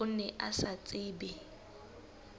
o ne o sa tsebe